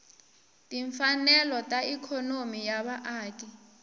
timfanelo ta ikhonomi ya vaaki